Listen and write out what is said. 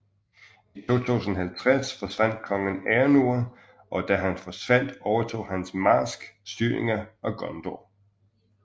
I 2050 forsvandt kongen Eärnur og da han forsvandt overtog hans marsk styringen af Gondor